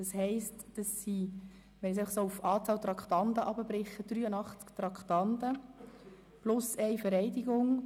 Wenn wir das auf die Anzahl Traktanden herunterbrechen, sind das 83 Traktanden plus eine Vereidigung.